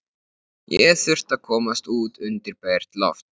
Ég þurfti að komast út undir bert loft.